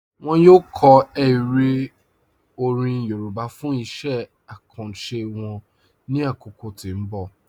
Wọn yọ kọ èrè orin Yorùbá fún iṣẹ̀ àkàńṣé wọn ní akókò tí n bọ̀.